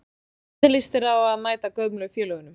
Hvernig lýst þér á að mæta gömlu félögunum?